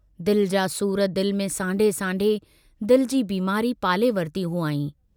दिल जा सूर दिल में सांढे सांढे दिल जी बीमारी पाले वरती हुआईं।